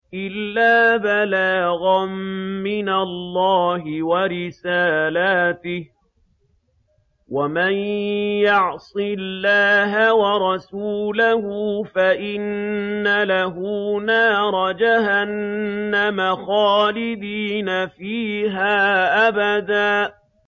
إِلَّا بَلَاغًا مِّنَ اللَّهِ وَرِسَالَاتِهِ ۚ وَمَن يَعْصِ اللَّهَ وَرَسُولَهُ فَإِنَّ لَهُ نَارَ جَهَنَّمَ خَالِدِينَ فِيهَا أَبَدًا